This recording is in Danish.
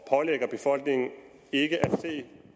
pålægger befolkningen ikke at se